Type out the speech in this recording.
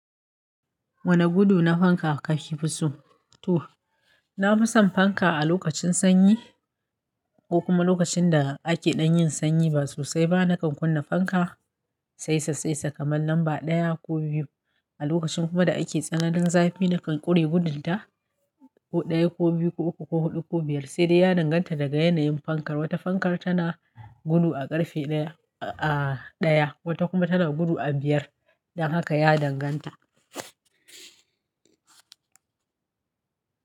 Wane gudu na fanka aka fi fi so? To, na fi son fanka a lokacin sanyi ko kuma lokacin da ake dan yin sanyi ba sosai ba. Nakan kunna fanka saisa saisa kamar lamba ɗaya ko biyu. A lokacin kuma da ake tsananin zafi nakan ƙure gudunta ko ɗaya, ko biyu, ko uku, ko huɗu, ko biyar. Sai dai ya danganta daga yanayin fankar. Wata fankar tana gudu a ƙarfe ɗaya, wata kuma tana gudu a biyar. Don haka ya danganta.